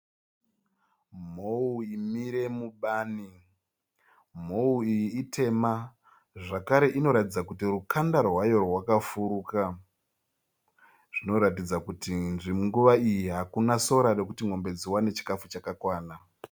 Mhou imire mubani. Mhou iyi itema zvakare inoratidza kuti rukanda rwayo rwakafuruka, zvinoratidza kuti nguva iyi hakuna sora rekuti mombe dziwane chikafu chakakwana